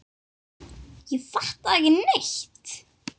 Ég fattaði ekki neitt.